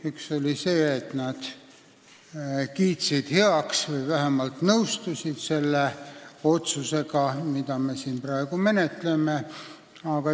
Üks oli see, et nad kiitsid heaks selle otsuse või vähemalt nõustusid sellega, mida me siin praegu menetleme.